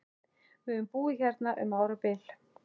Við höfum búið hérna um árabil!